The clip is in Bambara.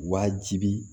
Wajibi